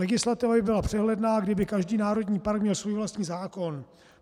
Legislativa by byla přehledná, kdyby každý národní park měl svůj vlastní zákon.